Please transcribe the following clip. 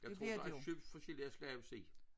Jeg tror der er købt forskellige slags sild